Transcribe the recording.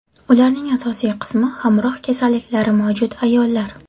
Ularning asosiy qismi hamroh kasalliklari mavjud ayollar.